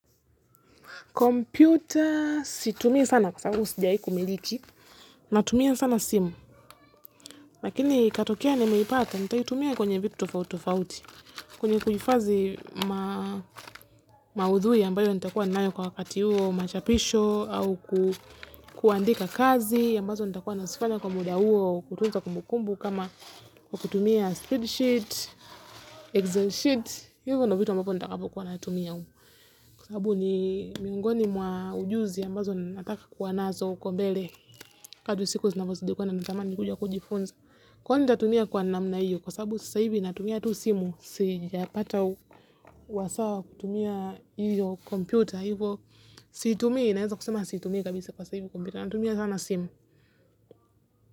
Computer situmii sana kwa sababu sijai hkumiliki, natumia sana simu, lakini katokea nimeipata nitaitumia kwenye vitu tofauti tofauti, kwenye kuhifazi maudhui ambayo nitakua nayo kwa wakati huo machapisho au kuandika kazi, ambazo nitakua nazifanya kwa muda huo kutunza kumbu kumbu kama kutumia spred sheet, excel sheet, hivyo ndo vitu ambapo nitakapo kuwa natumia huko. Kwa sababu ni mingoni mwa ujuzi ambazo na nataka kuwa nazo ukobele. Kadu siku zinavo zidi kwenda na natamani kuja kujifunza. Kwani nitatumia kwa namna hiyo, kwa sababu sasa hivi natumia tu simu, sija pata uwasawa kutumia hiyo komputer. Hivo siitumii naeza kusema siitumii kabisa kwa sasa hivi natumia sana simu.